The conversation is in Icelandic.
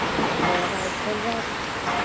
Eða í tólf ár?